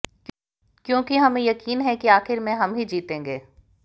क्योंकि हमें यक़ीन है कि आखि़र में हम ही जीतेंगे